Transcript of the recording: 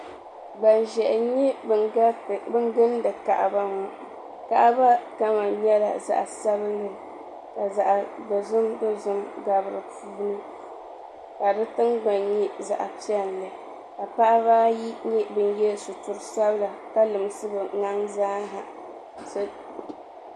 Gban ʒɛhi n nyɛ ban gindi kaaba ŋɔ kaaba kama nyɛla zaɣi sabinli ka zaɣi dɔzim dozim gabi dini kadi tiŋgbani nyɛ zaɣi piɛli paɣaba ayi nyɛla ban gobi chinchini sabila ka pobi n limsi bɛ nina zaa